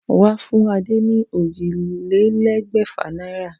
Wà á fún Adé ní ójìlélégbèfà náírà